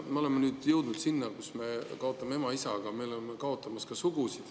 Me oleme nüüd jõudnud sinna, kus me kaotame ema ja isa, aga me oleme kaotamas ka sugusid.